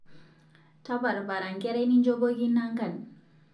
Taparpara nkerai ninjopoki nangan